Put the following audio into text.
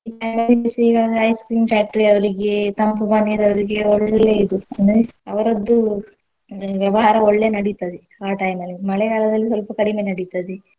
Ice cream factory ಅವ್ರಿಗೆ ತಂಪು ಪಾನೀಯದವ್ರಿಗೆ ಒಳ್ಳೇ ಇದು ಏನು ಅವ್ರದ್ದು ವ್ಯವಹಾರ ಒಳ್ಳೇ ನಡಿತದೆ ಆ time ಅಲ್ಲಿ ಮಳೆಗಾಲದಲ್ಲಿ ಸ್ವಲ್ಪ ಕಡಿಮೆ ನಡಿತದೆ.